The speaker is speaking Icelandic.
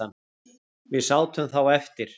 Við sátum þá eftir